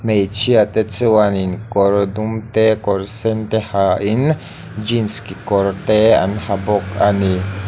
hmeichhiate chuanin kawr dum te kawr sen te hian jeans kekawr te an ha bawk a ni.